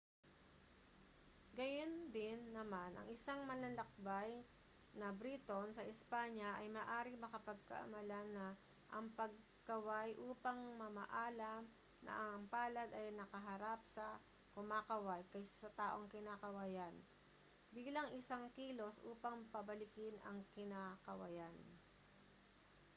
gayundin naman ang isang manlalakbay na briton sa espanya ay maaaring mapagkamalan na ang pagkaway upang mamaalam na ang palad ay nakaharap sa kumakaway kaysa sa taong kinakawayan bilang isang kilos upang pabalikin ang kinakawayan